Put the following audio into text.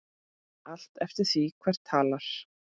Allt eftir því hver talar.